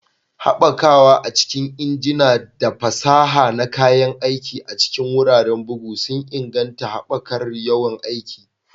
Haɓakawa a cikin injina da fasaha na kayan aiki a cikin wuraren bugu sun inganta haɓakar yawan aiki